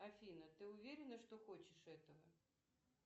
афина ты уверена что хочешь этого